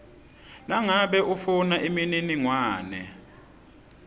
nangabe ufuna imininingwane